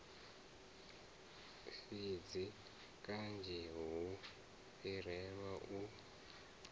fhidzi kanzhi hu fhirelaho u